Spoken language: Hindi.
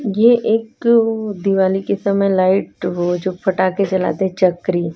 ये एक दिवाली के समय लाइट वो जो पटाखे जलाते हैं चकरी।